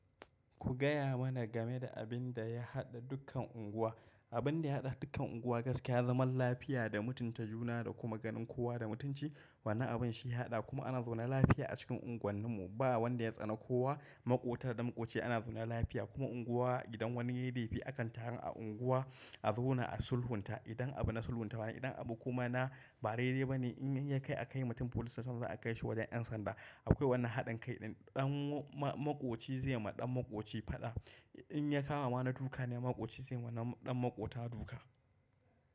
Ku gaya mana game da abin da ya haɗa dukkan unguwa. Abin da ya haɗa dukkan unguwa gaskiya zaman lafiya da mutunta juna da kuma ganin kowa da mutunci. Wannan abun shi ya haɗa kuma ana zaune lafiya a cikin unguwannin mu. Ba wanda ya tsani kowa. Maƙota da maƙoci ana zaune lafiya kuma unguwa idan wani yayi laifi akan taru a unguwa a zauna a sulhunta idan abu na sulhuntawa idan abu kuma na bare reba ne in ya kai a kai mutum police station za a kai shi wajen 'yan sanda. Akwai wannan haɗin kai ɗan maƙoci zai ma ɗan maƙoci faɗa. In ya kama na duka ne maƙoci zai ma ɗan maƙota duka.